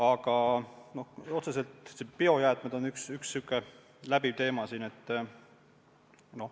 Aga otseselt on siin üks läbiv teema biojäätmed.